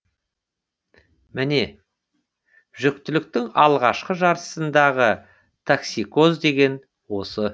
міне жүктіліктің алғашқы жартысындағы токсикоз деген осы